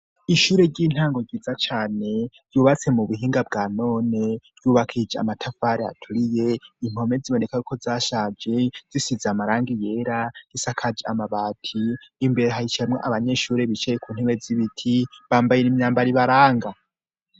Ishure ry'intango ryiza cane ryubatse mu buhinga bwa none. Ryubakishije amatafari aturiye, impome zibonekako zashaje, zisize amarangi yera, risakaje amabati. Imbere hicayamwo abanyeshuri bicaye ku ntewe z'ibiti, bambayeb imyambaro ibaranga.